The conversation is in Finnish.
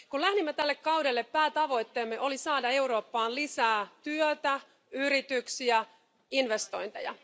Kun lähdimme tälle kaudelle, päätavoitteemme oli saada Eurooppaan lisää työtä, yrityksiä ja investointeja.